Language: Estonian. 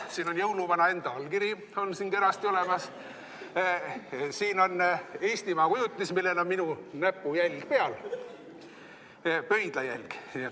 Siin on jõuluvana enda allkiri kenasti olemas, siin on Eestimaa kujutis, millel on minu näpujälg peal, pöidlajälg.